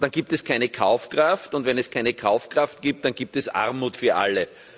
gibt es keine Kaufkraft, und wenn es keine Kaufkraft gibt, dann gibt es Armut für alle.